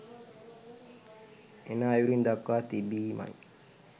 එන අයුරින් දක්වා තිබීමයි